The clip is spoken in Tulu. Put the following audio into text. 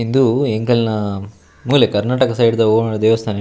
ಇಂದು ಎಂಕಲ್ನ ಮೂಲೆ ಕರ್ಣಾಟಕ ಸೈಡ್ ದ ಒವಾಂಡ ದೇವಸ್ಥಾನ --